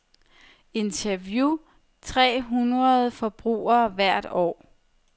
Interview tre hundrede forbrugere hvert år.